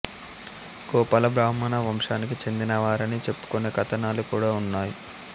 గోపాల బ్రాహ్మణ వంశానికి చెందినవారని చెప్పుకునే కథనాలు కూడా ఉన్నాయి